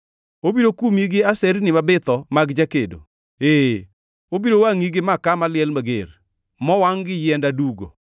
Obiro kumi gi aserni mabitho mag jakedo, ee, obiro wangʼi gi maka maliel mager, mowangʼ gi yiend adugo.